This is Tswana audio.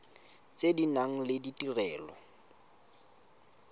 tse di nang le ditirelo